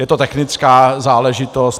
Je to technická záležitost.